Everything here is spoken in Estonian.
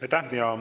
Aitäh!